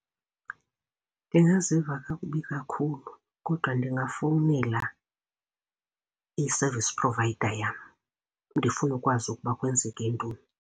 Ndingaziva kakubi kakhulu kodwa ndingafowunela i-service provider yam ndifune ukwazi ukuba kwenzeke ntoni.